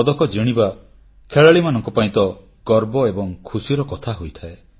ପଦକ ବିଜେତା ଖେଳାଳିମାନଙ୍କ ପାଇଁ ତ ଗର୍ବ ଏବଂ ଖୁସିର କଥା ହୋଇଥାଏ